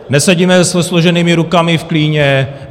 Nesedíme se složenýma rukama v klíně.